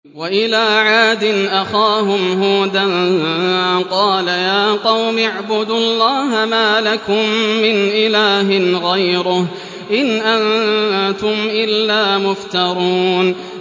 وَإِلَىٰ عَادٍ أَخَاهُمْ هُودًا ۚ قَالَ يَا قَوْمِ اعْبُدُوا اللَّهَ مَا لَكُم مِّنْ إِلَٰهٍ غَيْرُهُ ۖ إِنْ أَنتُمْ إِلَّا مُفْتَرُونَ